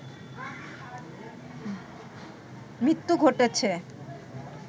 মৃত্যু ঘটেছে